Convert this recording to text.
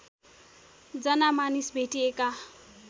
जना मानिस भेटिएका